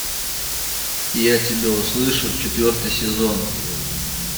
я тебя услышу четвертый сезон